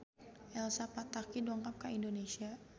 Elsa Pataky dongkap ka Indonesia